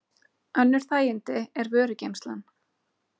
Önnur þægindi er vörugeymslan.